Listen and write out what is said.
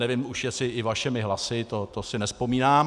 Nevím už, jestli i vašimi hlasy, to si nevzpomínám.